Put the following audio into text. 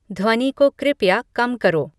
ध्वनि को कृपया कम करो